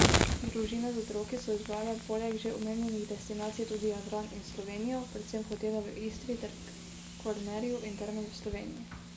Družine z otroki so izbrale poleg že omenjenih destinacij tudi Jadran in Slovenijo, predvsem hotele v Istri ter Kvarnerju in terme v Sloveniji.